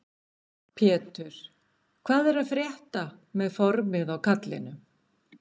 Pétur: Hvað er að frétta með formið á kallinum?